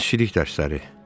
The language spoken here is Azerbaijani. Dənizçilik dərsləri.